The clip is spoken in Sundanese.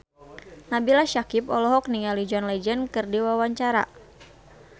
Nabila Syakieb olohok ningali John Legend keur diwawancara